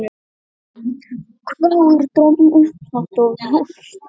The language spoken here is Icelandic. hváir Dröfn upphátt og hóstar.